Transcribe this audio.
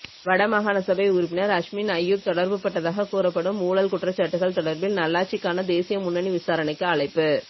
வடமாகாணசபை உறுப்பினர் அஸ்மின் அய்யூப் தொடர்புபட்டதாக கூறப்படும் ஊழல் குற்றச்சாட்டுகள் தொடர்பில் நல்லாட்சிக்கான தேசிய முன்னணி விசாரணைக்கு அழைப்பு